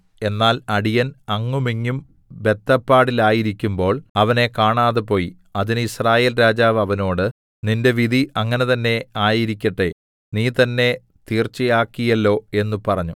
എന്നാൽ അടിയൻ അങ്ങുമിങ്ങും ബദ്ധപ്പാടിലായിരിക്കുമ്പോൾ അവനെ കാണാതെപോയി അതിന് യിസ്രായേൽ രാജാവ് അവനോട് നിന്റെ വിധി അങ്ങനെ തന്നേ ആയിരിക്കട്ടെ നീ തന്നേ തീർച്ചയാക്കിയല്ലോ എന്ന് പറഞ്ഞു